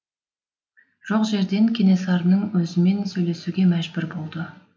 жоқ жерден кенесарының өзімен сөйлесуге мәжбүр болды